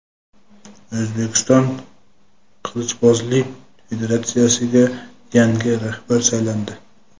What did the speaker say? O‘zbekiston qilichbozlik federatsiyasiga yangi rahbar saylandi.